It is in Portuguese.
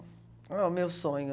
Olha o meu sonho.